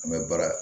An bɛ baara